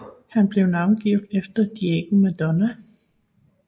Han blev navngivet efter Diego Maradona